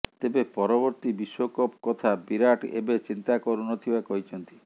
ତେବେ ପରବର୍ତ୍ତୀ ବିଶ୍ୱକପ୍ କଥା ବିରାଟ୍ ଏବେ ଚିନ୍ତା କରୁନଥିବା କହିଛନ୍ତି